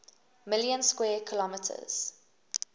million square kilometres